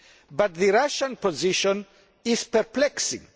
But the Russian position is perplexing.